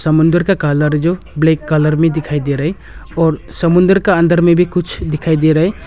समुंदर का कलर जो ब्लैक कलर में दिखाई दे रहा है और समुंदर का अंदर में भी कुछ दिखाई दे रहा है।